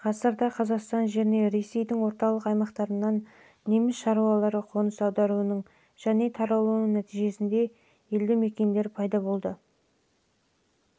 ғасырда қазақстан жеріне ресейдің орталық аймақтарынан неміс шаруалары қоныс аударуының және таралуының нәтижесінде жаңа елдімекендер мекендер пайда болды